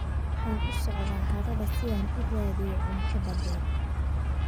Waxaan u socdaa harada si aan u raadiyo cunto badeed.